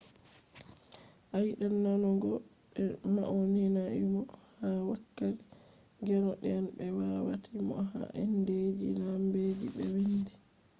a yidan nanugo be mauninaimo ha wakkati gendo den be watai mo ha indeji lambeji be wiindi